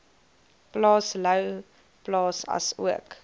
plaas louwplaas asook